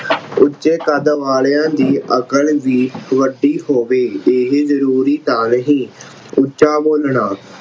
ਉੱਚੇ ਕੱਦ ਵਾਲਿਆਂ ਦੀ ਅਕਲ ਵੀ ਵੱਡੀ ਹੋਵੇ ਇਹੇ ਜ਼ਰੂਰੀ ਤਾਂ ਨਹੀਂ। ਉੱਚਾ ਬੋਲਣਾ